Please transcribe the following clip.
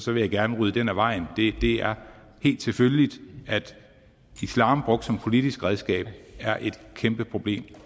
vil jeg gerne rydde den af vejen det er helt selvfølgeligt at islam brugt som politisk redskab er et kæmpeproblem